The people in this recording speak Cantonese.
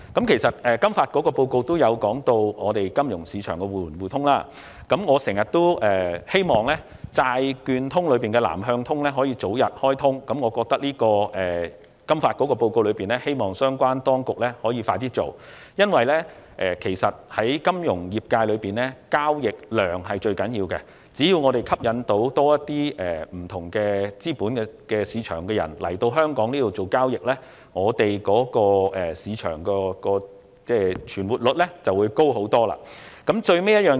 其實，金發局的報告也有提及香港金融市場的互聯互通——我一直希望"債券通"的"南向通"可以早日開通——我希望相關當局可以盡快實施金發局在報告中的建議，因為在金融業界內，交易量是最重要的，只要政府能吸引更多不同資本市場的投資者來港進行交易，香港市場的存活率便會大幅提高。